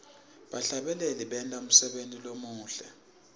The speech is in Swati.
bahlabeleli benta umsebenti lomuhle